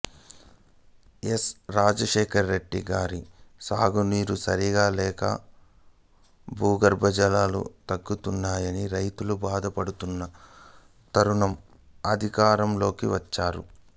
yes Rajasekhara Reddy గారు సాగునీరు సరిగా లేక భూగర్భ జలాలు తగ్గుతున్నాయని రైతులు బాధ పడుతున్న తరుణం అధికారంలోకి వచ్చారు